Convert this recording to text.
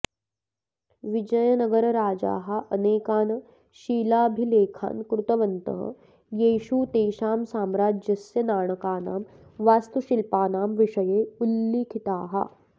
विजयनगरराजाः अनेकान् शिलाभिलेखान् कृतवन्तः येषु तेषां साम्राज्यस्य नाणकानां वास्तुशिल्पानां विषये उल्लिखिताः